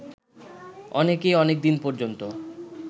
অনেকেই অনেকদিন পর্যন্ত